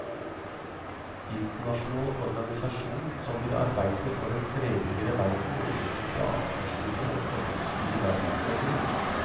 Internasjonal organisasjon som vil arbeide for en fredeligere verden og utvikle ansvarsfulle og fordomsfrie verdensborgere.